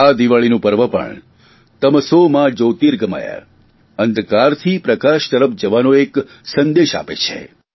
આ દિવાળીનું પર્વ પણ તમસો મા જયોતિર્ગમય અંધકારથી પ્રકાશ તરફ જવાનો એક સંદેશ આપે છે